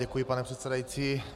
Děkuji, pane předsedající.